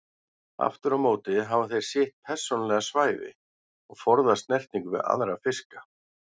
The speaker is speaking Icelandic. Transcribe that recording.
Aftur á móti hafa þeir sitt persónulega svæði og forðast snertingu við aðra fiska.